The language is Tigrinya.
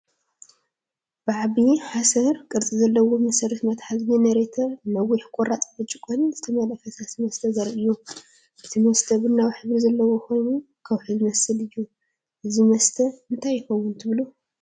ብዓቢ ሓሰር ቅርጺ ዘለዎ መስተ መትሓዚ (ጀነሬተር)ን ነዊሕ ቁራጽ ብርጭቆን ዝተመልአ ፈሳሲ መስተ ዘርኢ እዩ። እቲ መስተ ቡናዊ ሕብሪ ዘለዎ ኮይኑ፡ ከውሒ ዝመስል እዩ፡፡ እዚ መስተ እንታይ ይኸውን ትብሉ?